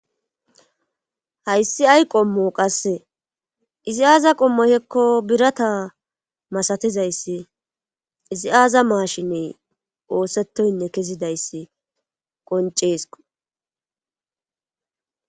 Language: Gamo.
hayssi ay qommo qasse izi aaza qommohekko birata masatizayssi izi aaza maashiney oosettoynne kezidayssi qonceeskko